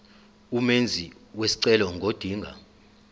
umenzi wesicelo ngodinga